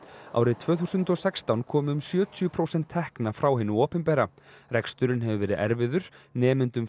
árið tvö þúsund og sextán komu um sjötíu prósent tekna frá hinu opinbera reksturinn hefur verið erfiður nemendum